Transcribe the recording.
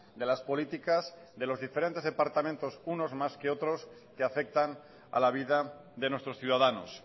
de las políticas de los diferentes departamentos unos más que otros que afectan a la vida de nuestros ciudadanos